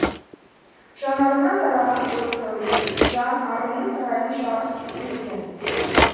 жанарыңнан тараған жылы сәуле жан арымның сарайын жарық еткен